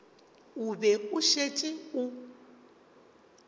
o be o šetše o